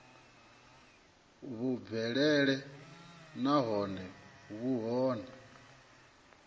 vhu bvelele nahone vhu kone